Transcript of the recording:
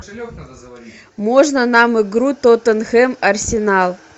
можно нам игру тоттенхэм арсенал